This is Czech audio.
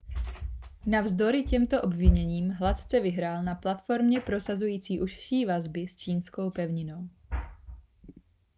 ma navzdory těmto obviněním hladce vyhrál na platformě prosazující užší vazby s čínskou pevninou